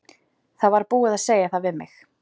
Það var búið að segja það við mig.